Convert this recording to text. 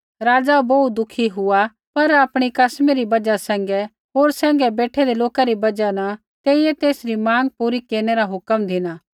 राज़ा बोहू दुखी हुआ पर आपणी कसमी री बजहा सैंघै होर सैंघै बेठैंदै लोका री बजहा न तेइयै तेसरी माँग पूरी केरनै रा हुक्म धिना